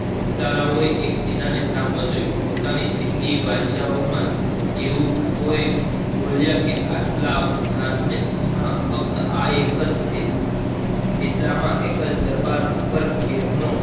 લુટારાવાઓ એક બીજાના સામે જોયું પોતાની જિંદગી એવું કોઈ બોલ્યા